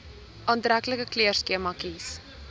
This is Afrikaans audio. aantreklike kleurskema kies